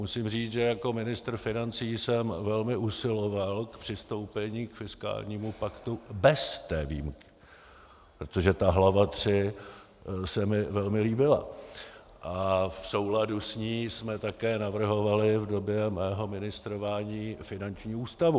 Musím říci, že jako ministr financí jsem velmi usiloval o přistoupení k fiskálnímu paktu bez té výjimky, protože ta hlava III se mi velmi líbila a v souladu s ní jsme také navrhovali v době mého ministrování finanční ústavu.